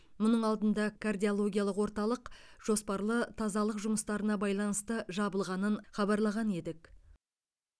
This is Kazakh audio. мұның алдында кардиологиялық орталық жоспарлы тазалық жұмыстарына байланысты жабылғанын хабарлаған едік